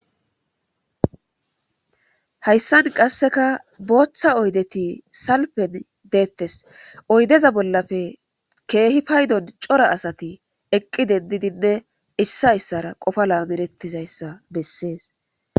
hayssan qasseka booththa oydeti salpen deettes oydeza bollafe keehi paydon cora asati eqqi dendidinne issa issara qofa laamerettizayssa bessees